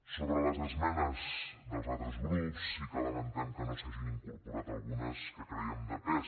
sobre les esmenes dels altres grups sí que lamentem que no s’hagin incorporat algunes que crèiem de pes